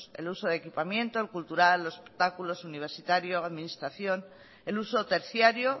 el uso de equipamiento el cultural los espectáculos universitarios administración el uso terciario